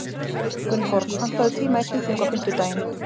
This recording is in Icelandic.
Gunnborg, pantaðu tíma í klippingu á fimmtudaginn.